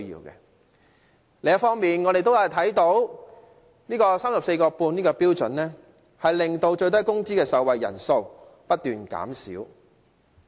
另一方面，我們看到 34.5 元這個標準令最低工資的受惠人數不斷減少。